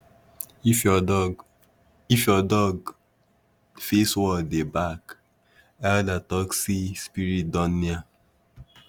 if your dog if your dog face wall dey bark elder talk say spirit don near